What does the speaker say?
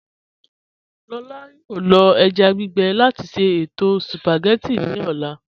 Lọlá yọọ lọ èjá gbígbe láti ṣẹto spagétì ní ọlá.